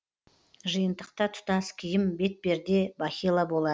жиынтықта тұтас киім бетперде бахила болады